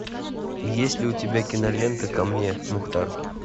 есть ли у тебя кинолента ко мне мухтар